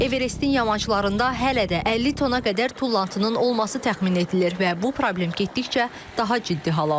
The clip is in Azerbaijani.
Everestin yamaçlarında hələ də 50 tona qədər tullantının olması təxmin edilir və bu problem getdikcə daha ciddi hal alır.